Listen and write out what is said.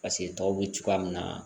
Paseke tɔw bɛ cogoya min na